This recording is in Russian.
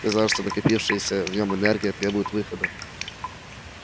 казалось что накопившаяся в нём энергия требует выхода